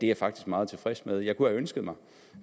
jeg faktisk meget tilfreds med jeg kunne have ønsket mig